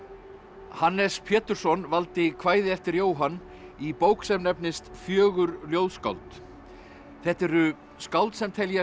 Hannes Pétursson valdi kvæði eftir Jóhann í bók sem nefnist fjögur ljóðskáld þetta eru skáld sem teljast